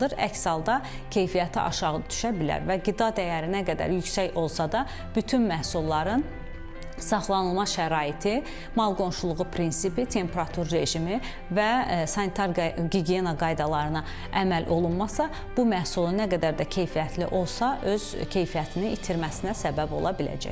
Əks halda keyfiyyəti aşağı düşə bilər və qida dəyəri nə qədər yüksək olsa da bütün məhsulların saxlanılma şəraiti, mal qonşuluğu prinsipi, temperatur rejimi və sanitar gigiyena qaydalarına əməl olunmasa, bu məhsul nə qədər də keyfiyyətli olsa, öz keyfiyyətini itirməsinə səbəb ola biləcək.